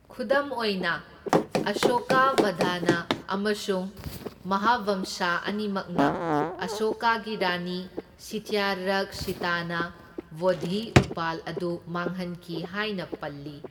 ꯈꯨꯗꯝ ꯑꯣꯏꯅ, ꯑꯁꯣꯀꯥꯕꯗꯅ ꯑꯃꯁꯨꯡ ꯃꯍꯥꯚꯝꯁꯥ ꯑꯅꯤꯃꯛꯅ ꯑꯁꯣꯀꯥꯒꯤ ꯔꯥꯅꯤ ꯇꯤꯁ꯭ꯌꯔꯛꯁꯤꯇꯥꯅ ꯕꯣꯙꯤ ꯎꯄꯥꯜ ꯑꯗꯨ ꯃꯥꯡꯍꯟꯈꯤ ꯍꯥꯏꯅ ꯄꯜꯂꯤ।